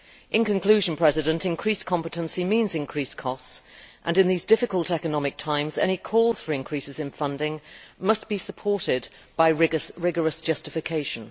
In conclusion, increased competency means increased costs, and in these difficult economic times any calls for increases in funding must be supported by rigorous justification.